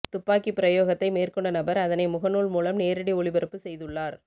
துப்பாக்கி பிரயோகத்தை மேற்கொண்ட நபர் அதனை முகநூல் மூலம் நேரடி ஒளிபரப்பு செய்துள்ளார்